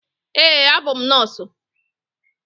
Eé, abụ m nọọsụ.